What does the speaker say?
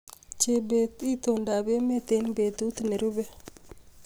Chebet, itondoab emet eng betut nerube